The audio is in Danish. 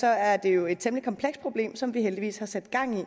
er det jo et temmelig komplekst problem som vi heldigvis har sat gang i